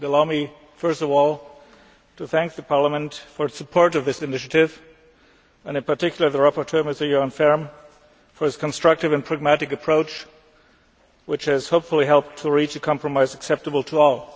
Allow me first of all to thank Parliament for its support of this initiative, and in particular the rapporteur, Mr Göran Färm, for his constructive and pragmatic approach which has hopefully helped to reach a compromise acceptable to all.